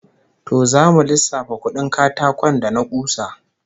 To zamu lissafa kudin katakon da na kusa